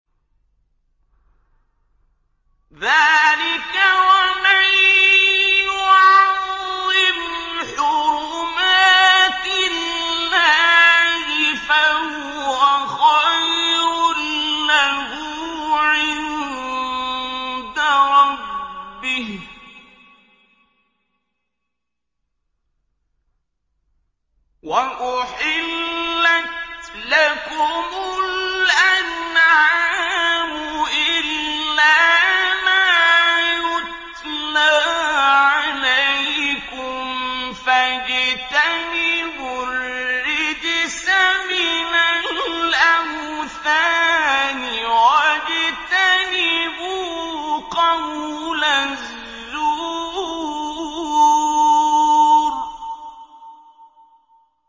ذَٰلِكَ وَمَن يُعَظِّمْ حُرُمَاتِ اللَّهِ فَهُوَ خَيْرٌ لَّهُ عِندَ رَبِّهِ ۗ وَأُحِلَّتْ لَكُمُ الْأَنْعَامُ إِلَّا مَا يُتْلَىٰ عَلَيْكُمْ ۖ فَاجْتَنِبُوا الرِّجْسَ مِنَ الْأَوْثَانِ وَاجْتَنِبُوا قَوْلَ الزُّورِ